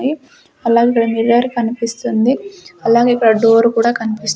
mirror కనిపిస్తుంది అలాగే ఇక్కడ డోర్ కూడా కనిపిస్--